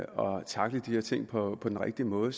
tackle de her ting på den rigtige måde